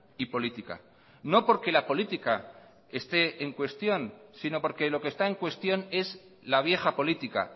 y política no porque la política esté en cuestión sino porque lo que está en cuestión es la vieja política